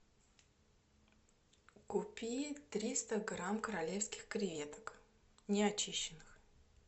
купи триста грамм королевских креветок не очищенных